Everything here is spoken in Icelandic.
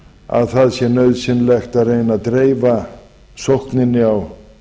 að það sé nauðsynlegt að reyna að dreifa sókninni á